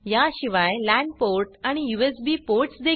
याशिवाय LAN port आणि USB ports